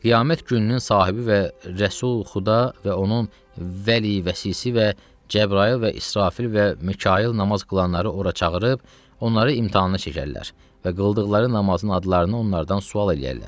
Qiyamət gününün sahibi və Rəsul Xudda və onun vəli vəsisi və Cəbrayıl və İsrafil və Mikayıl namaz qılanları ora çağırıb, onları imtahana çəkərlər və qıldıqları namazın adlarını onlardan sual eləyərlər.